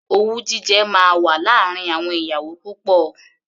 Owú jíjẹ máa wà láàárín àwọn ìyàwó púpọ̀.